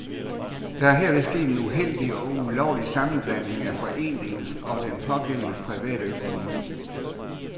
Der er herved sket en uheldig og ulovlig sammenblanding af foreningens og den pågældendes private økonomi.